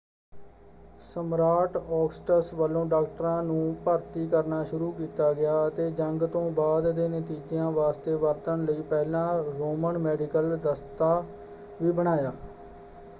ਸਮਰਾਟ ਔਗਸਟਸ ਵੱਲੋਂ ਡਾਕਟਰਾਂ ਨੂੰ ਭਰਤੀ ਕਰਨਾ ਸ਼ੁਰੂ ਕੀਤਾ ਗਿਆ ਅਤੇ ਜੰਗ ਤੋਂ ਬਾਅਦ ਦੇ ਨਤੀਜਿਆਂ ਵਾਸਤੇ ਵਰਤਣ ਲਈ ਪਹਿਲਾ ਰੋਮਨ ਮੈਡੀਕਲ ਦਸਤਾ ਵੀ ਬਣਾਇਆ।